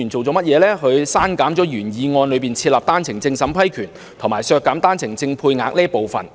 他刪減了原議案中設立單程證審批權，以及削減單程證配額的建議。